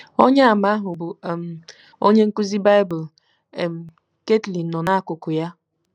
Onyeàmà ahụ bụ́ um onye nkụzi Bible um Ketly nọ n’akụkụ ya.